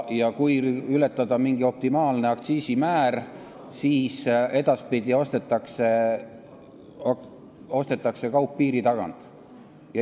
Kui ületada mingi optimaalne aktsiisimäär, siis edaspidi ostetakse kaup piiri tagant.